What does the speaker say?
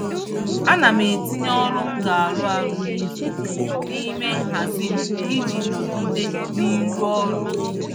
Ana m etinye ọrụ m ga-arụ n'izuụka n'ime nhazi m iji nọgide n'ịrụ ọrụ